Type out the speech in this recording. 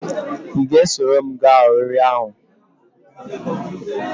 I ga-esoro m gaa oriri ahu?